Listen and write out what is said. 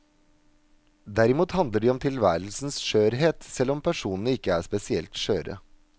Derimot handler de om tilværelsens skjørhet, selv om personene ikke er spesielt skjøre.